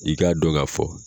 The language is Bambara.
i k'a dɔn ka fɔ